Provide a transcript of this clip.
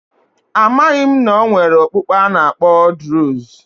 Amaghị m na e nwere okpukpe a na-akpọ druze